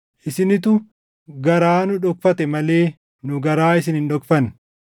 Isinitu garaa nu dhokfate malee nu garaa isin hin dhokfanne.